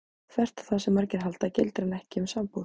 Þvert á það sem margir halda gildir hann ekki um sambúð.